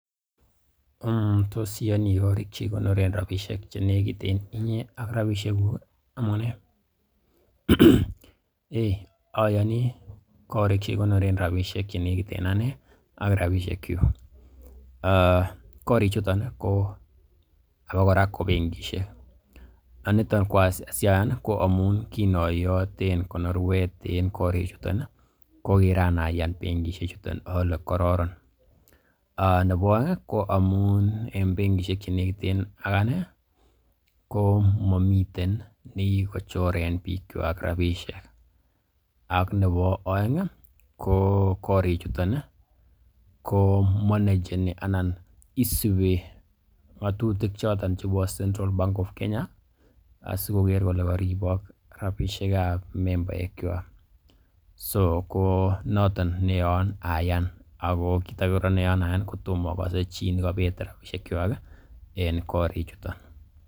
Tos iyoni koriik che kikonoren rabisiek che negit en inye ak rabisieguk? Amunee? Eiy oyoni korik che kigonren rabishek che negit en ane ak rabisiekyuk, korichuton ko abakora ko benkishek, niton asi ayan ko amun kinoyoten konorwet yuton ko kiran ayan bengishek chuton ole kororon nebo oeng ko amun en benkishek che negiten ak anee ko momiten ne kigochoren bikwak rabishek . Ak nebo oeng ko korik chuton komanageni anan isubi ng'atutik choton chebo CENTRAL BANK OF KENYA asikoger kole koribok rabishek ab membaekwak. So ko noton ne yoon ayan ak kiit age kora neyoen ayan ko tomo ogose chi ne kobet rabishekwak en korichuto.